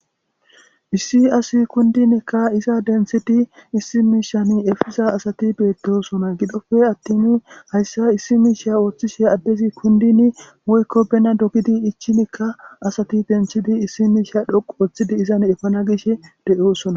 issi asi kundinekka iza denthidi issi miishan efiza asati beettosona gidofe attinu hayssa issi miisha ooththishe addezi kundin moykko bena dogidi ichi mika asati benthidi issi miisha dhoqu ooththidi izan efana gishe de7oosona